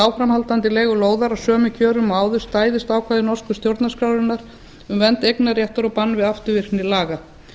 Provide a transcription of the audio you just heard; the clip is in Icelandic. áframhaldandi leigu lóðar á sömu kjörum og áður stæðist ákvæði norsku stjórnarskrárinnar um vernd eignarréttar og bann við afturvirkni laga